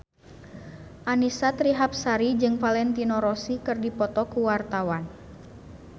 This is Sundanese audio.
Annisa Trihapsari jeung Valentino Rossi keur dipoto ku wartawan